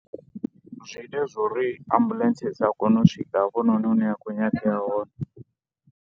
Zwi ita zwo ri ambuḽentse i sa kone u swika hafhanoni hune ya khou nyangea hone.